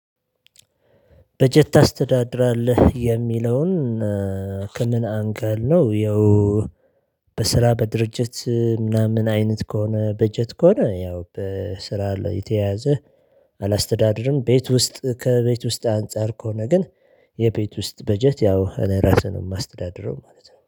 በጀት ታስተዳድራለህ? የሚለውን ከምን አንገል ነው ያው በስራ በድርጅት ምናምን አይነት ከሆነ በጀት ከሆነ ያው በስራ ላይ የተያያዘ አላስተዳደርም ቤት ውስጥ ከቤት ውስጥ አንፃር ከሆነ ግን የቤት ውስጥ በጀት ያው እኔ ራሴ ነው የማስተዳድረው ማለት ነው